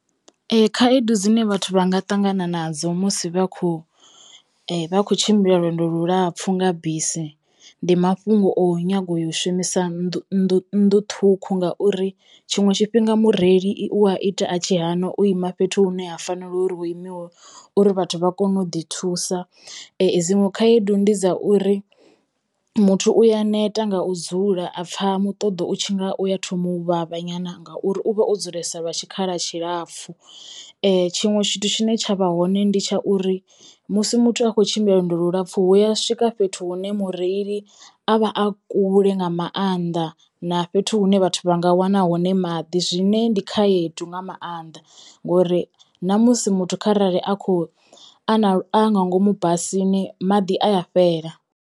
Ee. Khaedu dzine vhathu vha nga ṱangana nadzo musi vha khou vha khou tshimbila lwendo lulapfhu nga bisi ndi mafhungo o nyaga u yo u shumisa nnḓu nnḓu nnḓu ṱhukhu ngauri tshiṅwe tshifhinga mureili i u a ita a tshi hana u ima fhethu hune ha fanela uri u imiwe uri vhathu vha kono u ḓi thusa dziṅwe khaedu ndi dza uri muthu u ya neta nga u dzula a pfha muṱoḓo u tshi nga uya thoma u vhavha nyana ngauri u vha o dzulesa lwa tshikhala tshilapfu., Tshiṅwe tshithu tshine tsha vha hone ndi tsha uri musi muthu a khou tshimbila lwendo lulapfu hu ya swika fhethu hune mureili a vha a kule nga maanḓa na fhethu hune vhathu vha nga wana hone maḓi zwine ndi khaedu nga maanḓa ngori na musi muthu kharali a kho a na a nga ngomu basini maḓi a ya fhela.